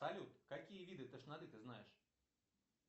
салют какие виды тошноты ты знаешь